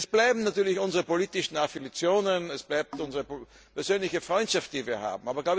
Es bleiben natürlich unsere politischen Affinitäten, es bleibt die persönliche Freundschaft, die wir haben.